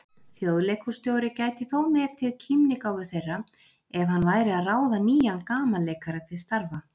Þjóðleikhússtjóri gæti þó metið kímnigáfu þeirra ef hann væri að ráða nýjan gamanleikara til starfa.